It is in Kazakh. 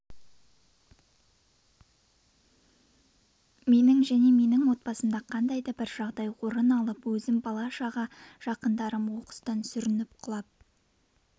менің және менің отбасымда қандай да бір жағдай орын алып өзім бала-шаға жақындарым оқыстан сүрініп құлап